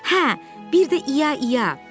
Hə, bir də ia ia.